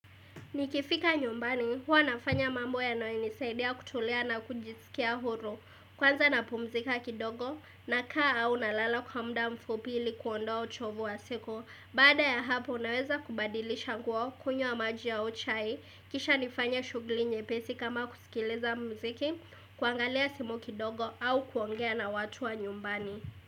Nikifika nyumbani, huwa nafanya mambo yanayonisaidia kutulia na kujisikia huru. Kwanza na pumzika kidogo na kaa au na lala kwa muda mfupi ili kuondoa uchovu wa siko. Baada ya hapo, naweza kubadilisha nguo kunywa maji au chai. Kisha nifanye shugli nyepesi kama kusikiliza mziki, kuangalia simu kidogo au kuongea na watu wa nyumbani.